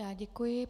Já děkuji.